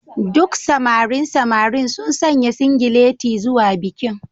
Duk samarin samarin sun sanya singileti zuwa bikin